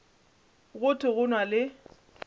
go thwe go na le